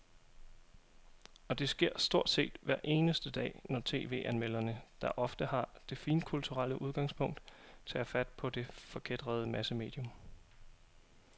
Og det sker stort set hver eneste dag, når tv-anmelderne, der ofte har det finkulturelle udgangspunkt, tager fat på det forkætrede massemedium.